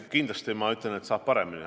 Kindlasti ma ütlen, et saab paremini.